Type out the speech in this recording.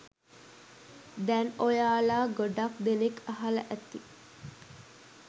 දැන් ඔයාලා ගොඩක් දෙනෙක් අහලා ඇති.